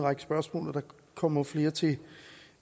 række spørgsmål og der kommer flere til